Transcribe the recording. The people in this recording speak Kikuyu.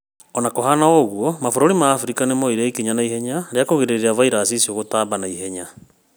Ona kũrĩ ũguo, mabũrũri ma Afrika nĩmoire ikinya naihenya rĩa kũgiria vairasi icio gũtamba naihenya